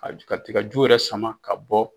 ka tigaju yɛrɛ sama ka bɔ